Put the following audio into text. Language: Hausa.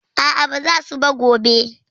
A a, ba za su ba gobe.